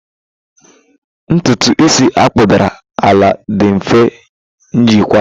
Ntutu Isi akpụdara ala dị mfe jikwaa.